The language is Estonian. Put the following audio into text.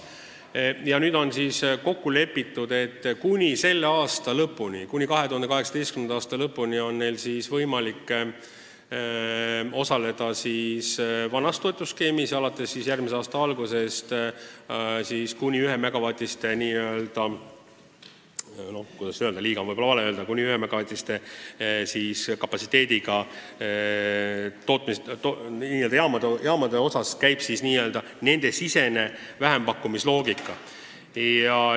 Nüüd on kokku lepitud, et kuni tänavuse aasta lõpuni on neil võimalik osaleda vanas toetusskeemis ja järgmise aasta alguses hakkab kuni 1-megavatiste liigas – no kuidas öelda, "liiga" on võib-olla ikkagi vale sõna – ehk kuni 1-megavatise kapatsiteediga tootmisjaamade puhul kehtima n-ö nende sisese vähempakkumise loogika.